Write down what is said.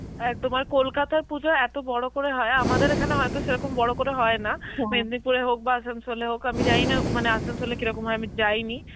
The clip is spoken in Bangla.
অ্যাঁ তোমার কলকাতার পুজো এত বড় করে হয়, আমাদের এখানে হয়তো সেরকম বড় করে হয় না, মেদিনীপুরে হোক বা আসানসোলে হোক, আমি জানিনা মানে আসানসোলে কি রকম হয় আমি যাইনি